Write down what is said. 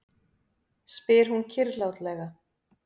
spyr hún kyrrlátlega.